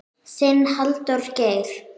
Þinn, Halldór Geir.